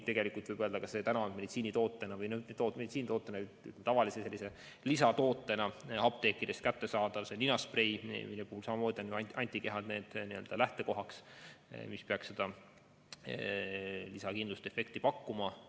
Tegelikult võib öelda, et meditsiinitootena või tavalise lisatootena on apteekidest kättesaadav ninasprei, mille puhul samamoodi on antikehad need, mis peaks lisakindlust ja efekti pakkuma.